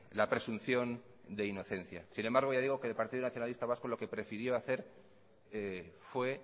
la presunción de inocencia sin embargo ya digo que el partido nacionalista vasco lo que prefirió hacer fue